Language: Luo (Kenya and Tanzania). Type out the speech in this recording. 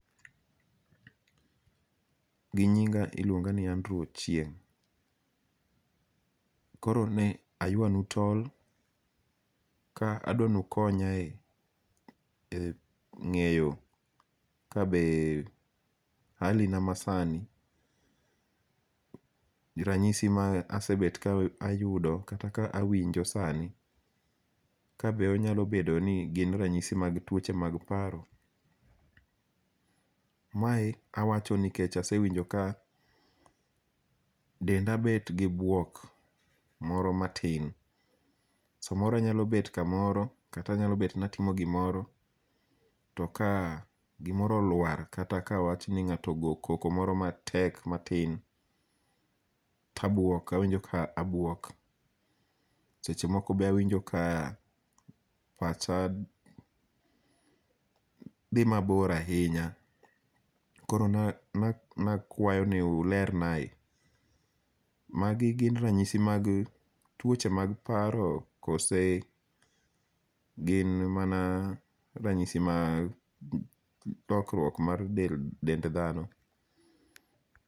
Ginyinga' iluonga ni Adrew Ochieng', koro ne aywanu tol ka adwanukonyae e nge'yo ka be hali na ma sani ranyisi ma asebet ka ayudo kata ka awinjo sani, ka be onyalo bedo ni gin ranyisi mag twoche mag paro, mae awacho nikecha asewinjo ka denda bet gi bwok moro matin, samoro anyalo bet kamoro kata anyalo bet ni atimo gimoro to ka gimoro olwar kata ka awachni nga'to ogoyo koko moro matek moro matin to abwok awinjo ka abuok sechemoko be awinjo ka pacha thi mabor ahinya, koro ne akwau ni ulernae, magi gin ranyisi mag twoche mag paro koso gin mana ranyisi mar lokruok mag del dend thano.